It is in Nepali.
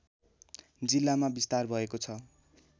जिल्लामा विस्तार भएको छ